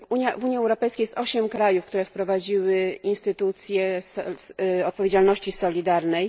W Unii Europejskiej jest osiem krajów, które wprowadziły instytucję odpowiedzialności solidarnej.